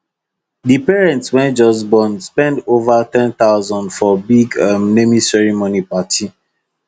the parents wey just born spend over 10000 for big um naming ceremony party